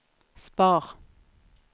spar